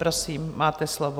Prosím, máte slovo.